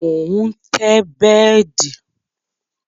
Mo ń tẹ́ bẹ́dì